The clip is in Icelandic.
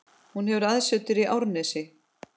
Hún hefur aðsetur í Árnesi.